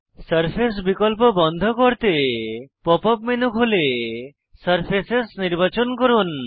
surface বিকল্প বন্ধ করতে পপ আপ মেনু খুলে সারফেসেস নির্বাচন করুন